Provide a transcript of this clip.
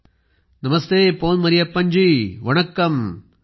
प्रधानमंत्रीः Pon Mariyappan ji Vanakkam